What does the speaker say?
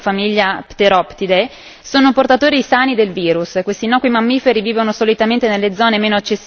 È risaputo che i pipistrelli frugivori appartenenti alla famiglia Pteroptide sono portatori sani del virus.